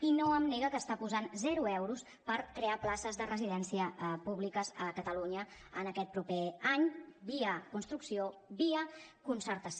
i no em nega que està posant zero euros per crear places de residencia públiques a catalunya en aquest proper any via construcció via concertació